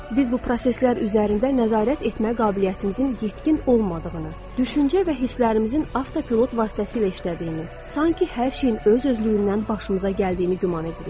Biz bu proseslər üzərində nəzarət etmə qabiliyyətimizin yetkin olmadığını, düşüncə və hisslərimizin avtopilot vasitəsilə işlədiyini, sanki hər şeyin öz-özlüyündən başımıza gəldiyini güman edirik.